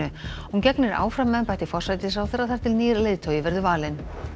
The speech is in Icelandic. hún gegnir áfram embætti forsætisráðherra þar til nýr leiðtogi verður valinn